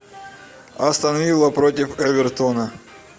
астон вилла против эвертона